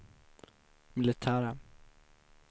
militära